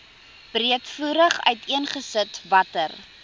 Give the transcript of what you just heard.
breedvoerig uiteengesit watter